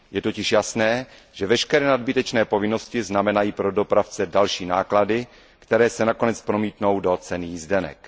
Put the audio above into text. Je totiž jasné, že veškeré nadbytečné povinnosti znamenají pro dopravce další náklady, které se nakonec promítnou do ceny jízdenek.